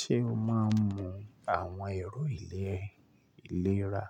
Ṣé o máa ń mu àwọn èrò ìlera?